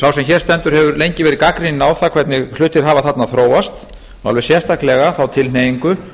sá sem hér stendur hefur lengi verið gagnrýninn á það hvernig hlutir hafa þarna þróast og alveg sérstaklega þá tilhneigingu